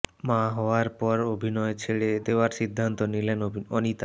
মা হওয়ার পর অভিনয় ছেড়ে দেওয়ার সিদ্ধান্ত নিলেন অনিতা